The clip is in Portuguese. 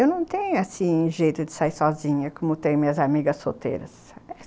Eu não tenho, assim, jeito de sair sozinha, como tem minhas amigas solteiras.